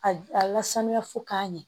A a lasanya fo k'a ɲɛ